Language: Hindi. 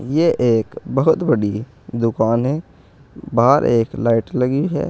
यह एक बहुत बड़ी दुकान है बाहर एक लाइट लगी है।